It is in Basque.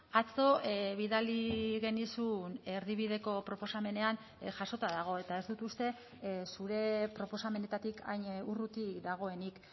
atzo bidali genizun erdibideko proposamenean jasota dago eta ez dut uste zure proposamenetatik hain urruti dagoenik